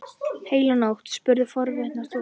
Heila nótt? spurði forviða stúlka.